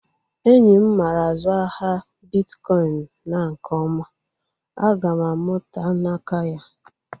Enyi m mara azụ ahịa bitkọin a nke ọma. Aga m amụta n'aka ya